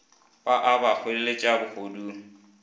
ba a ba hweleletša bohodu